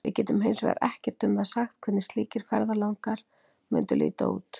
Við getum hins vegar ekkert um það sagt hvernig slíkir ferðalangar mundu líta út.